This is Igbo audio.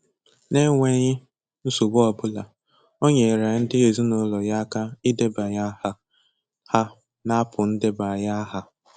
N'enweghị nsogbu ọ bụla, o nyeere ndị ezinaụlọ ya aka idebanye áhà ha n'apụ ndebanyeaha.